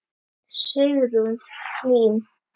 Sigrún Hlín.